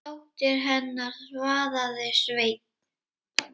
Dóttir hennar, svaraði Sveinn.